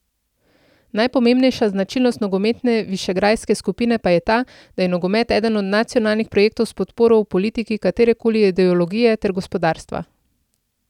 Najpomembnejša značilnost nogometne višegrajske skupine pa je ta, da je nogomet eden od nacionalnih projektov s podporo v politiki katerekoli ideologije ter gospodarstva.